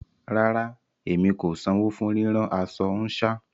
Rárá, emi kò sanwọ fún ríran aṣọ nṣa